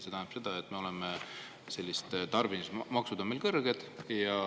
See tähendab seda, et tarbimismaksud on meil kõrged.